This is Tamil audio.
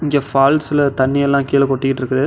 இங்க ஃபால்ஸ்ல தண்ணி எல்லா கீழ கொட்டிட்டிருக்குது.